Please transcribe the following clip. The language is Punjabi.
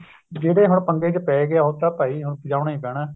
ਜਿਹੜੇ ਹੁਣ ਪੰਗੇ ਚ ਪੈ ਗਿਆ ਉਹ ਤਾਂ ਭਾਈ ਹੁਣ ਵਜਾਉਣ ਹੀ ਪੈਣਾ